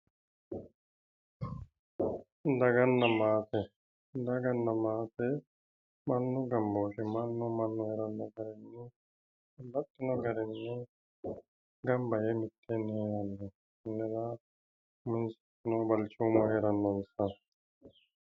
Daganna maate. Daganna maate mannu gambooti.